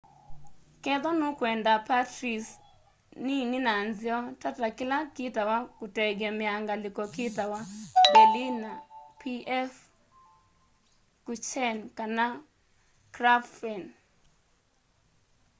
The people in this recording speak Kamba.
kethwa nukwenda pastries nini na nzeo tata kila kitawa kutengemea ngaliko kitawa berliner pfannkuchen kana krapfen